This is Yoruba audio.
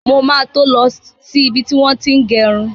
Mo ma to lọ sí ibi tí wọ́n ti ń gẹrun.